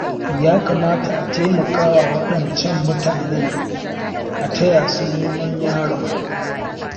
Ya kamata a taimakawa waɗancan mutanen a taya su neman yaron.